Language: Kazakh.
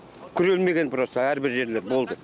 күрелмеген просто әрбір жерлер болды